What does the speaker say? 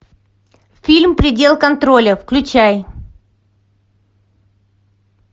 фильм предел контроля включай